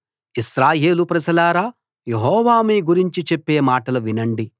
ఇశ్రాయేలు ప్రజలారా యెహోవా మీ గురించి చెప్పే మాటలు వినండి